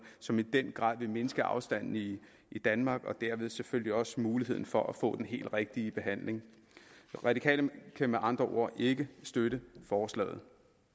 som i den grad vil mindske afstanden i danmark og dermed selvfølgelig også styrke mulighederne for at få den helt rigtige behandling de radikale kan med andre ord ikke støtte forslaget